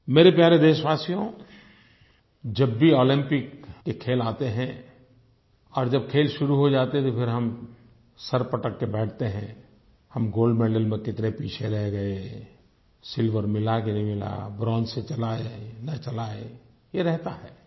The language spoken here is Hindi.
मेरे प्यारे देशवासियों जब भी ओलम्पिक के खेल आते हैं और जब खेल शुरू हो जाते हैं तो फिर हम सर पटक के बैठते हैं हम गोल्ड मेडल में कितने पीछे रह गए सिल्वर मिला के नहीं मिला ब्रोंज से चलाए न चलाए ये रहता है